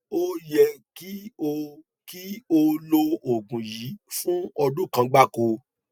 ó yẹ kí o kí o lo oògùn yìí fún ọdún kan gbáko